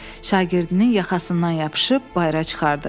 Şagirdinin yaxasından yapışıb bayıra çıxartdı.